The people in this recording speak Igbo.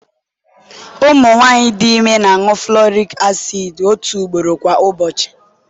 ụmụ nwanyị dị ime na-aṅụ folic acid otu ugboro kwa ụbọchị